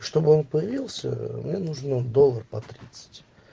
чтобы он появился мне нужно доллар по тридцать